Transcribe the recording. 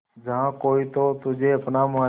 जहा कोई तो तुझे अपना माने